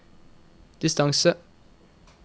distance